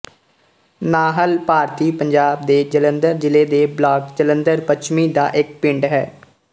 ਨਾਹਲ ਭਾਰਤੀ ਪੰਜਾਬ ਦੇ ਜਲੰਧਰ ਜ਼ਿਲ੍ਹੇ ਦੇ ਬਲਾਕ ਜਲੰਧਰ ਪੱਛਮੀ ਦਾ ਇੱਕ ਪਿੰਡ ਹੈ